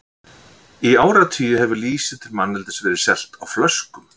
Í áratugi hefur lýsi til manneldis verið selt á flöskum.